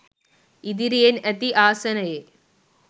ඉදිරියෙන් ඇති ආසනයේ